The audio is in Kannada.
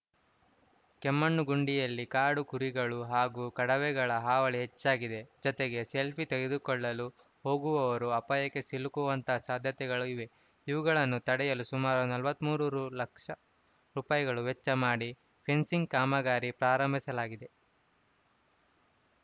ಕೆಮ್ಮಣ್ಣು ಗುಂಡಿಯಲ್ಲಿ ಕಾಡು ಕುರಿಗಳು ಹಾಗು ಕಡವೆಗಳ ಹಾವಳಿ ಹೆಚ್ಚಾಗಿದೆ ಜತೆಗೆ ಸೆಲ್ಫಿ ತೆಗೆದುಕೊಳ್ಳಲು ಹೋಗುವವರು ಅಪಾಯಕ್ಕೆ ಸಿಲುಕುವಂತಹ ಸಾಧ್ಯತೆಗಳು ಇವೆ ಇವುಗಳನ್ನು ತಡೆಯಲು ಸುಮಾರು ನಲವತ್ತ್ ಮೂರು ರು ಲಕ್ಷ ರುಪಾಯಿಗಳು ವೆಚ್ಚ ಮಾಡಿ ಫೆನ್ಸಿಂಗ್‌ ಕಾಮಗಾರಿ ಪ್ರಾರಂಭಿಸಲಾಗಿದೆ